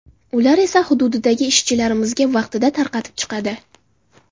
Ular esa hududidagi ishchilarimizga vaqtida tarqatib chiqadi.